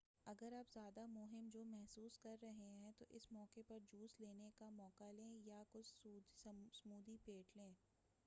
اگر آپ زیادہ مہم جو محسوس کررہے ہیں تو اس موقع پر جوس لینے کا موقع لیں یا کچھ سمودھی پھینٹ لیں